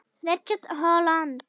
Richard Holland